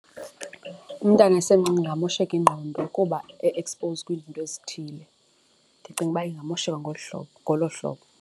Umntana esemncinci kungamosheka ingqondo kuba e-exposed kwizinto ezithile, ndicinga uba ingamosheka ngolu hlobo, ngolo hlobo.